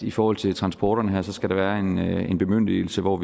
i forhold til transporterne her skal være en bemyndigelse hvor